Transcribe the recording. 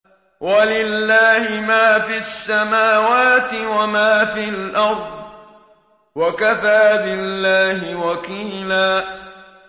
وَلِلَّهِ مَا فِي السَّمَاوَاتِ وَمَا فِي الْأَرْضِ ۚ وَكَفَىٰ بِاللَّهِ وَكِيلًا